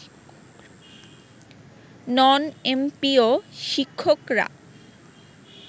নন MPO শিক্ষকরা